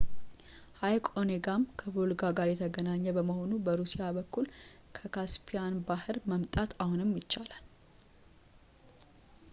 ሐይቅ ኦኔጋም ከቮልጋ ጋር የተገናኘ በመሆኑ በሩሲያ በኩል ከካስፒያን ባሕር መምጣት አሁንም ይቻላል